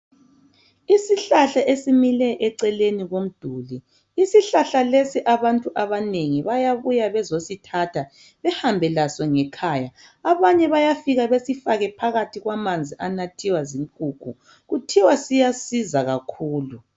Isihlahla esimile duzane lomduli abantu abanengi bayabuya bezosithatha behambe laso ngekhaya abanye bayafika besifaka phakathi kwamanzi anathiwa zinkukhu kuthiwa siyasiza kakhulu